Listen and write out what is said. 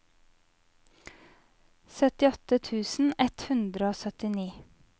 syttiåtte tusen ett hundre og syttini